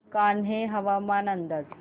कान्हे हवामान अंदाज